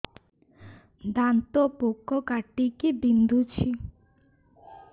ଦାନ୍ତ ପୋକ କାଟିକି ବିନ୍ଧୁଛି